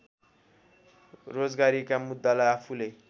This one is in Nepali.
रोजगारीका मुद्दालाई आफूले